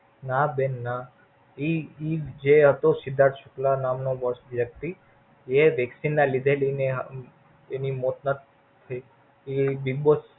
ના બેન ના. ઈ ઈ જે હતો સિંદ્ધાત શુક્લા નામનો boss વ્યક્તિ એ Vaccine ના લીધે લય ને એની મોત નથ થઈ.